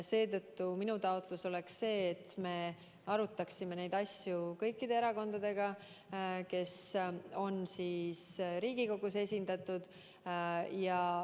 Seetõttu minu taotlus oleks, et me arutaksime neid asju kõikide erakondadega, kes on Riigikogus esindatud.